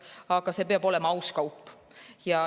Aga see peab olema aus kaup.